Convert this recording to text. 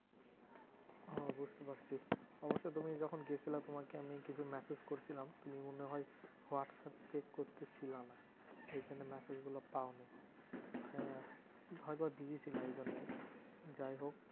ও বুঝতে পারছি। অবশ্য তুমি যখন গেছিলা তোমায় কি এমনি কিছু massage করেছিলাম তুমি মনে হয়, হোয়াটস্যাপ check করতে ছিলা না। সেইজন্য massage গুলো পাওনি। হ্যাঁ busy ছিল এইজন্যই যাইহোক।